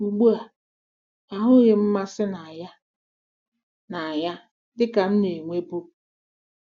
Ugbu a, ahụghị m mmasị na ya na ya dị ka m na-enwebu.